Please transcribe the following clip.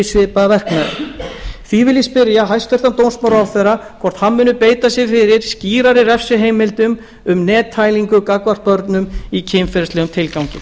svipaða verknaði því vil ég spyrja hæstvirtan dómsmálaráðherra hvort hann muni beita sér fyrir skýrari refsiheimildum um nettælingu gagnvart börnum í kynferðislegum tilgangi